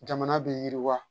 Jamana bɛ yiriwa